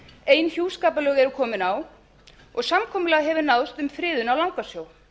ein hjúskaparlög eru komin á og samkomulag hefur náðst um friðun á langasjó